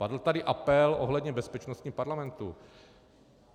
Padl tady apel ohledně bezpečnosti parlamentu.